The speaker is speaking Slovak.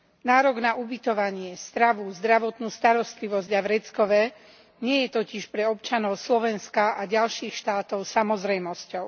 Nárok na ubytovanie, stravu, zdravotnú starostlivosť a vreckové nie je totiž pre občanov Slovenska a ďalších štátov samozrejmosťou.